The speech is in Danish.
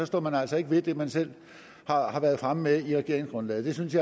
står man altså ikke ved det man selv har har været fremme med i regeringsgrundlaget